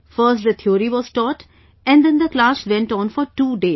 First the theory was taught and then the class went on for two days